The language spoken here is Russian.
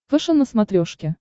фэшен на смотрешке